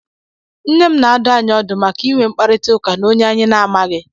Nne m na-adụ anyị ọdụ maka ị nwe mkparịtaụka na onye anyị na-amaghi.